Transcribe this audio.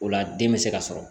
O la den bɛ se ka sɔrɔ